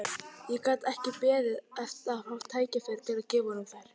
Ég gat ekki beðið eftir að fá tækifæri til að gefa honum þær.